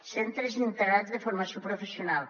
centres integrats de formació professional